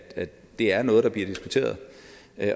det er noget der bliver diskuteret